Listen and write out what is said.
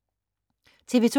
TV 2